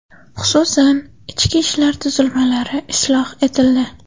Xususan, ichki ishlar tuzilmalari isloh etildi.